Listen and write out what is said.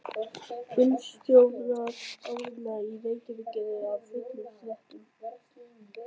Bílstjórar Árna í Reykjavík eru af öllum stéttum.